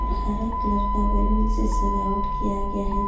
और हरा कलर के बैलून से सजावट किया गया है ।